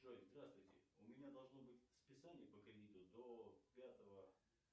джой здравствуйте у меня должно быть списание по кредиту до пятого